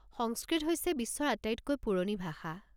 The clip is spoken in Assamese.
সংস্কৃত হৈছে বিশ্বৰ আটাইতকৈ পুৰণি ভাষা।